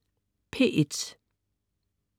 P1: